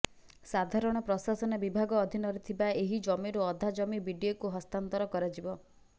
ସାଧାରଣ ପ୍ରଶାସନ ବିଭାଗ ଅଧୀନରେ ଥିବା ଏହି ଜମିରୁ ଅଧା ଜମି ବିଡିଏକୁ ହସ୍ତାନ୍ତର କରାଯିବ